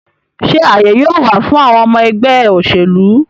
Sé àyè yóò wà fún àwọn ọmọ ẹgbẹ́ òṣèlú?